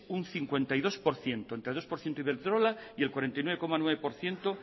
un cincuenta y dos por ciento entre dos por ciento iberdrola y el cuarenta y nueve coma nueve por ciento